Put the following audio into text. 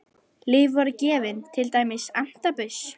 Lyf voru gefin, til dæmis antabus.